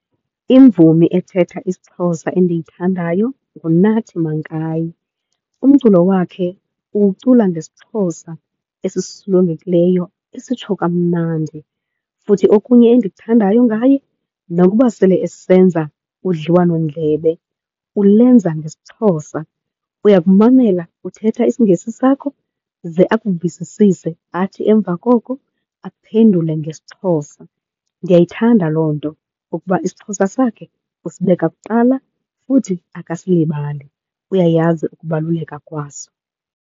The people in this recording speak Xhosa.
Imvumi ethetha isiXhosa endiyithandayo nguNathi Mankayi. Umculo wakhe uwucula ngesiXhosa esisulungekileyo, esitsho kamnandi. Futhi okunye endikuthandayo ngaye nokuba sele esenza udliwanondlebe, ulenza ngesiXhosa. Uyakumamela uthetha isiNgesi sakho ze akuvisisise, athi emva koko aphendule ngesiXhosa. Ndiyayithanda loo nto ukuba isiXhosa sakhe usibeka kuqala futhi akasilibali, uyayazi ukubaluleka kwaso.